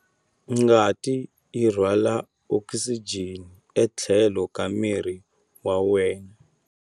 Ngati yi rhwala okisijeni etlhelo ka miri wa wena.